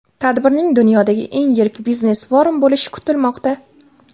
Tadbirning dunyodagi eng yirik biznes-forum bo‘lishi kutilmoqda.